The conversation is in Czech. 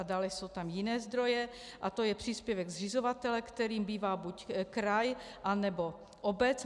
A dále jsou tam jiné zdroje, a to je příspěvek zřizovatele, kterým bývá buď kraj, anebo obec.